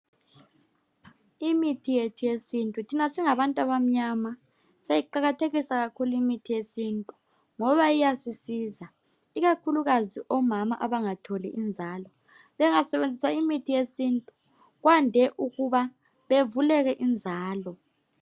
Imithi yethu yesintu thina singabantu abamnyama siyayiqakathekisa kakhulu imithi yethu eyesintu ngoba iyasisiza ikakhulu omama abangatholi inzalo bengasebenzisa imithi yentu kwande ukuba bethole inzalo